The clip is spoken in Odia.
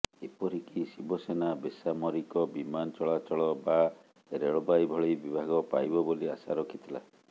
ଏପରିକି ଶିବସେନା ବେସାମରିକ ବିମାନ ଚଳାଚଳ ବା ରେଳବାଇ ଭଳି ବିଭାଗ ପାଇବ ବୋଲି ଆଶା ରଖିଥିଲା